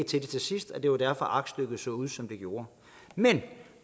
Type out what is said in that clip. til det til sidst og det var derfor at aktstykket så ud som det gjorde men